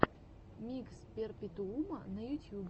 микс перпетуума на ютьюбе